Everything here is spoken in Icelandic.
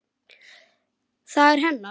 Það er hennar.